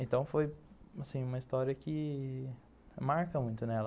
Então foi assim uma história que marca muito nela.